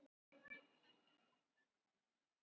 Ég vil þig.